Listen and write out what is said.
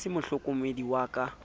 e se mohlokomedi ya ka